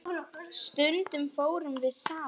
Stundum fórum við saman.